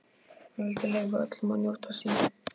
Hann vildi leyfa öllum að njóta sín.